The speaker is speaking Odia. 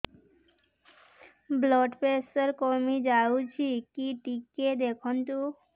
ବ୍ଲଡ଼ ପ୍ରେସର କମି ଯାଉଛି କି ଟିକେ ଦେଖନ୍ତୁ